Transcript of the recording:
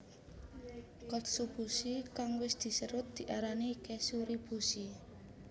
Katsuobushi kang wis diserut diarani kezuribushi